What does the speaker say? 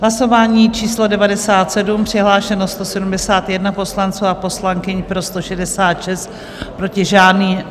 Hlasování číslo 97, přihlášeno 171 poslanců a poslankyň, pro 166, proti žádný.